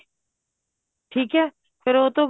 ਠੀਕ ਏ ਫ਼ਿਰ ਉਹ ਤੋਂ